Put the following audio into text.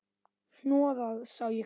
Hnoðað sá ég hvergi.